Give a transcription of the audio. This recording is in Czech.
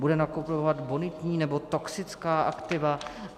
Bude nakupovat bonitní, nebo toxická aktiva?